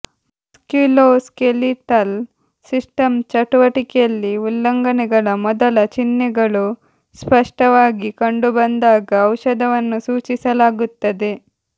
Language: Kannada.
ಮಸ್ಕ್ಯುಲೋಸ್ಕೆಲಿಟಲ್ ಸಿಸ್ಟಮ್ ಚಟುವಟಿಕೆಯಲ್ಲಿ ಉಲ್ಲಂಘನೆಗಳ ಮೊದಲ ಚಿಹ್ನೆಗಳು ಸ್ಪಷ್ಟವಾಗಿ ಕಂಡುಬಂದಾಗ ಔಷಧವನ್ನು ಸೂಚಿಸಲಾಗುತ್ತದೆ